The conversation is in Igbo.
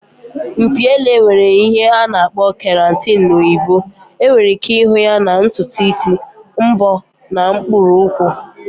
Mpi ele nwere ihe a na-akpọ keratin na oyibo. Enwere ike ịhụ ya na ntutu isi, mbọ na mkpụrụ ukwu